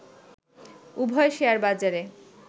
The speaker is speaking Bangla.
উভয় শেয়ারবাজারে